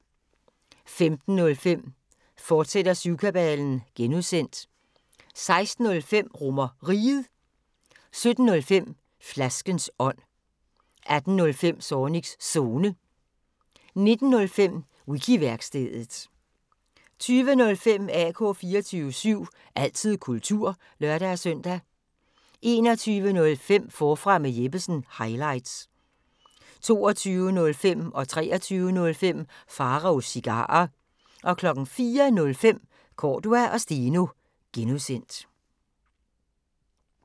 15:05: Syvkabalen (G), fortsat 16:05: RomerRiget 17:05: Flaskens ånd 18:05: Zornigs Zone 19:05: Wiki-værkstedet 20:05: AK 24syv – altid kultur (lør-søn) 21:05: Forfra med Jeppesen – highlights 22:05: Pharaos Cigarer 23:05: Pharaos Cigarer 04:05: Cordua & Steno (G)